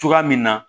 Cogoya min na